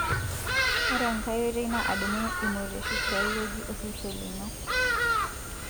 ore enkae oitoi na adumu ilmorioshi tiai weuji osesen lino.